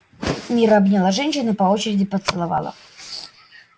мирра обняла женщин и по очереди поцеловала